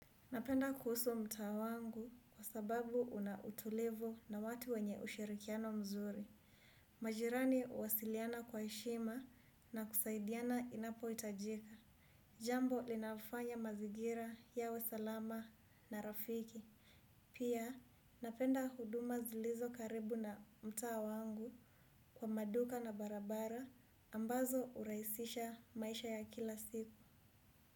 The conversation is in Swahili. Napenda kuhusu mtaa wangu kwa sababu unautulivu na watu wenye ushirikiano mzuri. Majirani huwasiliana kwa heshima na kusaidiana inapo hitajika. Jambo linalofanya mazingira yawe salama na rafiki. Pia napenda huduma zilizo karibu na mtaa wangu kwa maduka na barabara ambazo hurahisisha maisha ya kila siku.